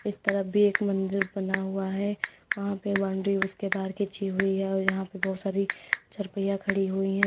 इस तरफ भी एक मंदिर बना हुआ है वहां पे बाउंड्री उसके बाहर खींची हुई है और यहां पर बहुत सारी चारपहिया खड़ी हुई हैं।